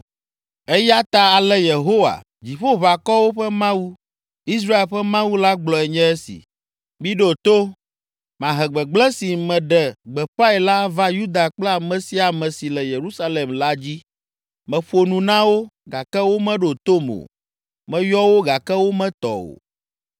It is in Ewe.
“Eya ta ale Yehowa, Dziƒoʋakɔwo ƒe Mawu, Israel ƒe Mawu la gblɔe nye esi: ‘Miɖo to! Mahe gbegblẽ si meɖe gbeƒãe la ava Yuda kple ame sia ame si le Yerusalem la dzi. Meƒo nu na wo, gake womeɖo tom o meyɔ wo gake wometɔ o.’ ”